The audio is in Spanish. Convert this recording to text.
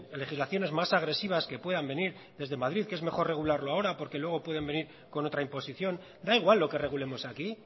legislaciones más agresivas que puedan venir desde madrid que es mejor regularlo ahora porque luego pueden venir con otra imposición da igual lo que regulemos aquí